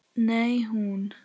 Nei, hún.